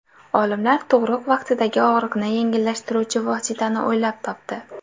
Olimlar tug‘ruq vaqtidagi og‘riqni yengillashtiruvchi vositani o‘ylab topdi.